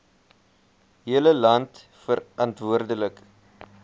hele land verantwoordelik